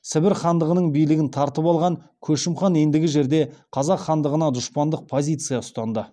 сібір хандығының билігін тартып алған көшім хан ендігі жерде қазақ хандығына дұшпандық позиция ұстанды